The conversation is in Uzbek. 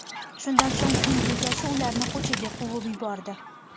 Shundan so‘ng uy bekasi ularni ko‘chaga quvib yubordi.